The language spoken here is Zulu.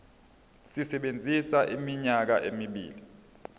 sisebenza iminyaka emibili